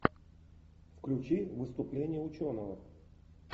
включи выступление ученого